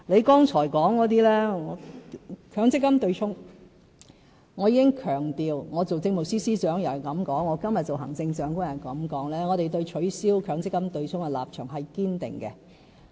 不管我還是政務司司長或今天作為行政長官，我也這樣說，我也強調我們對取消強積金對沖的立場是堅定的。